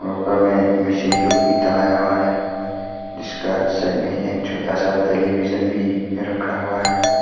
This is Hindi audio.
ऊपर में मशीन लोग भी टांगया हुआ है जिसका साइड मे एक छोटा सा टेलीविजन भी रखा हुआ है।